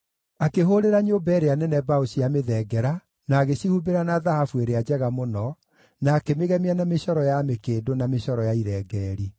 Akĩhũũrĩra nyũmba ĩrĩa nene mbaũ cia mĩthengera na agĩcihumbĩra na thahabu ĩrĩa njega mũno, na akĩmĩgemia na mĩcoro ya mĩkĩndũ na mĩcoro ya irengeeri.